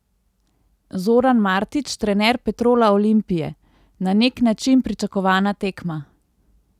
Zoran Martić, trener Petrola Olimpije: "Na nek način pričakovana tekma.